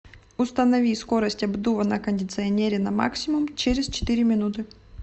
установи скорость обдува на кондиционере на максимум через четыре минуты